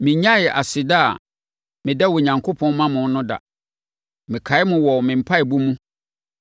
mennyaee aseda a meda Onyankopɔn ma mo no da. Mekae mo wɔ me mpaeɛbɔ mu,